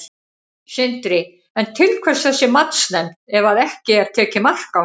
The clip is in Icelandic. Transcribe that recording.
Sindri: En til hvers þessi matsnefnd ef að ekki er tekið mark á henni?